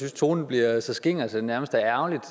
at tonen bliver så skinger at det nærmest er ærgerligt